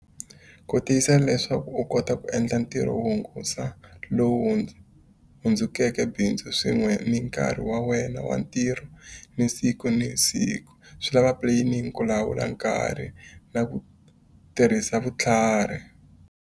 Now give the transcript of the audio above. Ku tiyisa leswaku u kota ku endla ntirho wo hungata lowu hundzukeke bindzu swin'we ni nkarhi wa wena wa ntirho ni siku ni siku. Swi lava planning, ku lawula nkarhi na ku tirhisa vutlhari.